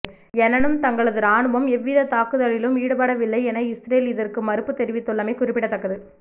எனனும் தங்களது ராணுவம் எவ்வித தாக்குதலிலும் ஈடுபடவில்லை என இஸ்ரேல் இதற்கு மறுப்பு தெரிவித்துள்ளமை குறிப்பிடத்தக்கது